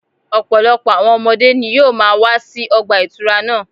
Ọ̀pọ̀lọpọ̀ àwọn ọmọdé ni yóò máa wá sí ọgbà ìtura náà